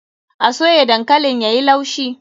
A soya dankalin yayi laushi.